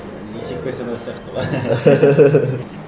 есеп берсең осы сияқты ғой